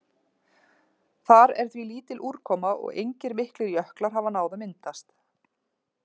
Þar er því lítil úrkoma og engir miklir jöklar hafa náð að myndast.